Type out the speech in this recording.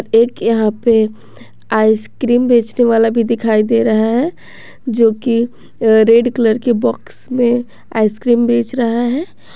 एक यहां पे आइस क्रीम बेचने वाला भी दिखाई दे रहा है जो की रेड कलर कि बॉक्स में आइस क्रीम बेच रहा है।